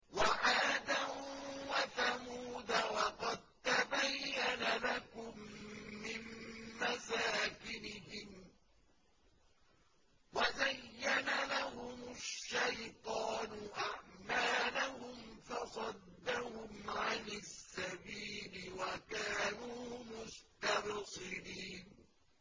وَعَادًا وَثَمُودَ وَقَد تَّبَيَّنَ لَكُم مِّن مَّسَاكِنِهِمْ ۖ وَزَيَّنَ لَهُمُ الشَّيْطَانُ أَعْمَالَهُمْ فَصَدَّهُمْ عَنِ السَّبِيلِ وَكَانُوا مُسْتَبْصِرِينَ